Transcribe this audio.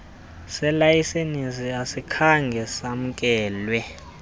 selayisenisi asikhange samkelwe